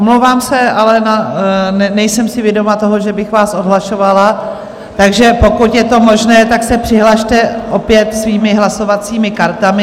Omlouvám se, ale nejsem si vědoma toho, že bych vás odhlašovala, takže pokud je to možné, tak se přihlaste opět svými hlasovacími kartami.